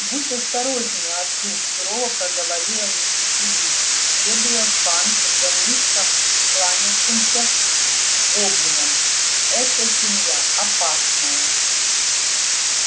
будь осторожнее артур сурово проговорила миссис уизли следуя в банк за низко кланявшимся гоблином эта семья опасная